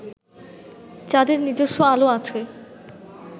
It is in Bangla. চাঁদের নিজস্ব আলো আছে